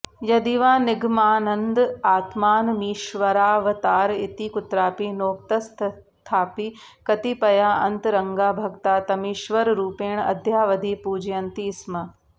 यदिवा निगमानन्द आत्मानमीश्वरावतार इति कुत्रापि नोक्तस्तथापि कतिपयाऽन्तरंगा भक्ता तमीश्वररूपेण अद्यावधि पूजयन्ति स्म